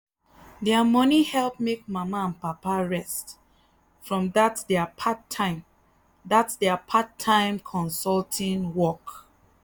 their money help make mama and papa rest from that their part-time that their part-time consulting work.